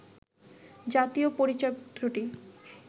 জাতীয় পরিচয়পত্রটি